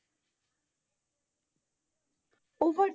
Over,